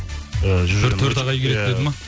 ыыы төрт ағай келеді деді ма